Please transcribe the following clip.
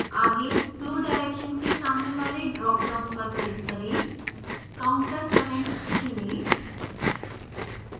आगे flow direction के सामने वाले dropdown पर click करें